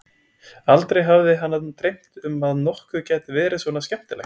Aldrei hafði hana dreymt um að nokkuð gæti verið svona skemmtilegt.